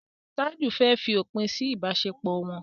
Taju fè fí òpin sí ibaṣepọ wón.